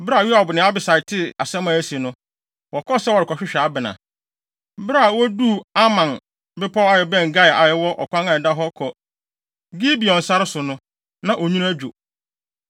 Bere a Yoab ne Abisai tee asɛm a asi no, wɔkɔɔ sɛ wɔrekɔhwehwɛ Abner. Bere a woduu Amma bepɔw a ɛbɛn Gia a ɛwɔ ɔkwan a ɛda hɔ kɔ Gibeon sare so no, na onwini adwo.